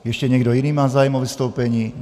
Ještě někdo jiný má zájem o vystoupení?